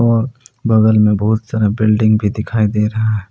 और बगल में बहुत सारा बिल्डिंग भी दिखाई दे रहा--